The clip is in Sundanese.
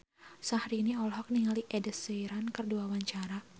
Syahrini olohok ningali Ed Sheeran keur diwawancara